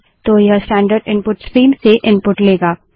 तो यह standard input stream से इनपुट लेगा